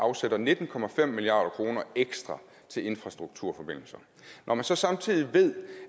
afsætter nitten milliard kroner ekstra til infrastrukturforbindelser når man så samtidig ved